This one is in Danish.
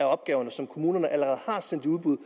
opgaver som kommunerne allerede har sendt i udbud